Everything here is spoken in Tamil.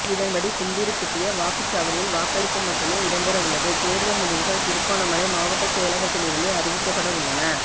இதன்படி கும்புறுப்பிட்டிய வாக்குச்சாவடியில் வாக்களிப்பு மட்டுமே இடம்பெறவுள்ளது தேர்தல் முடிவுகள் திருகோணமலை மாவட்ட செயலகத்திலிருந்தே அறிவிக்கப்படவுள்ளன